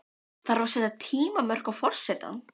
Þarf að setja tímamörk á forsetann?